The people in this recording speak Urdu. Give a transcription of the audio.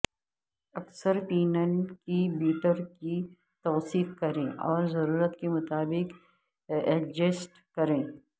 اکثر پینل کے بیٹر کی توثیق کریں اور ضرورت کے مطابق ایڈجسٹ کریں